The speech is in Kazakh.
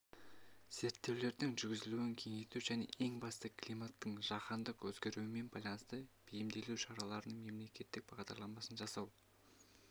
зерттеулердің жүргізілуін кеңейту және ең бастысы климаттың жаһандық өзгеруімен байланысты бейімделу шараларының мемлекеттік бағдарламасын жасау